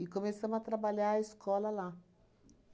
começamos a trabalhar a escola lá.